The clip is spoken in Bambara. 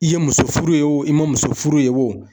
I ye muso furu yen wo i ma muso furu yen wo